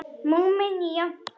Múmían jánkar.